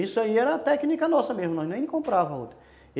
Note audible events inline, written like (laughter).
Isso aí era técnica nossa mesmo, nós nem encontrava (unintelligible)